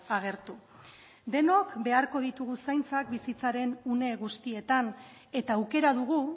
agertu denok beharko ditugu zaintzak bizitzaren une guztietan eta aukera dugu